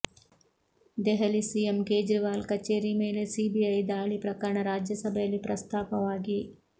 Delhi CM Kejriwal ಕಚೇರಿ ಮೇಲೆ CBI ದಾಳಿ ಪ್ರಕರಣ ರಾಜ್ಯಸಭೆಯಲ್ಲಿ ಪ್ರಸ್ತಾಪವಾಗಿ